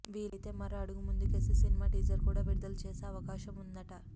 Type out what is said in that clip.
వీలైతే మరో అడుగు ముందుకేసి సినిమా టీజర్ కూడా విదుదల చేసే అవకాశం ఉందట